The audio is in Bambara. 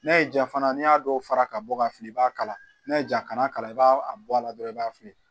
N'a y'i ja fana n'i y'a dɔw fara ka bɔ ka fili i b'a kala n'a ye ja kana kalan i b'a a bɔ a la dɔrɔn i b'a fili